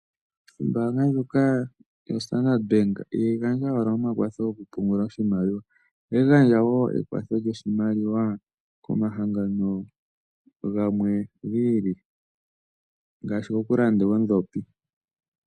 Ombaanga ndjoka yoStandard Bank ihayi gandja owala omakwatho gokupungula oshimaliwa. Ohayi gandja wo ekwatho lyoshimaliwa komahango gamwe gi ili ngaashi gokulanda oondhopi.